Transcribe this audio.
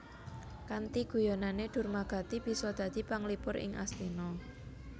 Kanthi guyonané Durmagati bisa dadi panglipur ing Astina